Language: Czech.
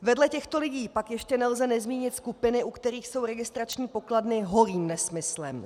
Vedle těchto lidí pak ještě nelze nezmínit skupiny, u kterých jsou registrační pokladny holým nesmyslem.